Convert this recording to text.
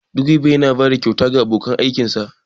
direba yana bada kyauta ga abokan aikinsa